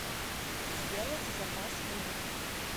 сделать заказ в номер